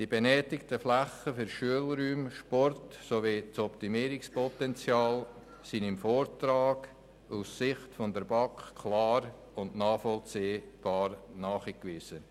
Die benötigten Flächen für Schulräume, Sport, sowie das Optimierungspotenzial sind im Vortrag aus Sicht der BaK klar und nachvollziehbar ausgewiesen.